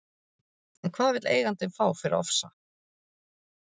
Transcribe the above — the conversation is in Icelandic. En hvað vill eigandinn fá fyrir Ofsa?